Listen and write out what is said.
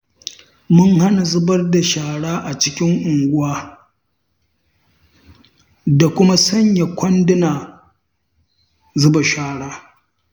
Mun hana zubar da shara a cikin unguwa, da kuma sanya kwandunan zuba shara.